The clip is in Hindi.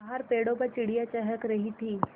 बाहर पेड़ों पर चिड़ियाँ चहक रही थीं